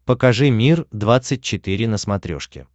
покажи мир двадцать четыре на смотрешке